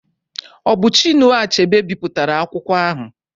Ọ bụ Chinua Achebe bipụtara akwụkwọ ahụ?